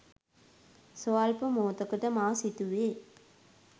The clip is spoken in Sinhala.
ස්වල්ප මොහොතකට මා සිතුවේ